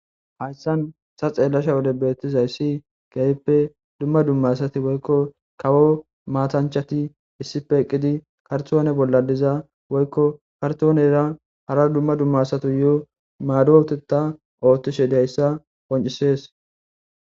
Hayssan sa xeellasha wode beettizay si gayppe dumma dumma sati woykko kawo maatanchati issipe eqqidi kartoone bolla diza woykko kartoonera hara dumma dumma satu yo maadooteta oottishe dayssa qoncisees.